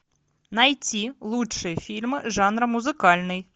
найти лучшие фильмы жанра музыкальный